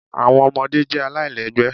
Awọn ọmọde jẹ alailẹgbẹ